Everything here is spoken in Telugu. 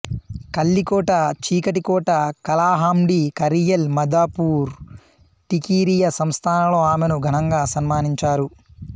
కళ్ళికోట చీకటి కోట కలహండి కరియల్ మధుపూర్ టికిరియా సంస్థానాలో ఆమెను ఘనంగా సన్మానించారు